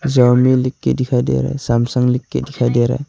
Xiaomi लिख के दिखाई दे रहा है सैमसंग लिख के दिखाई दे रहा है।